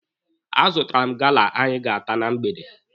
A zụtara m gala anyị ga-ata na mgbede.